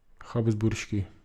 Habsburški.